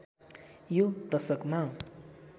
यो दशकमा